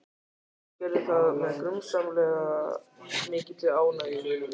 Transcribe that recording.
Hún gerði það með grunsamlega mikilli ánægju.